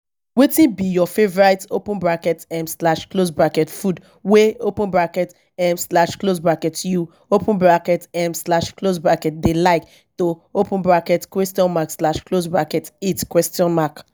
wetin be your favorite open bracket um slash close bracket food wey open bracket um slash close bracket you open bracket um slash close bracket dey like to open bracket question mark slash close bracket eat question mark